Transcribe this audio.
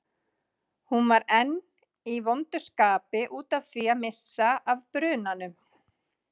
Hún var enn í vondu skapi út af því að missa af brunanum.